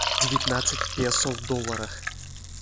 девятнадцать песо в долларах